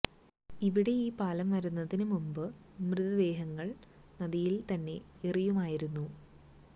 ഇവിടെ ഈ പാലം വരുന്നതിന് മുൻപ് മൃതദേഹങ്ങൾ നദിയിലേക്ക് തന്നെ എറിയുമായിരുന്നു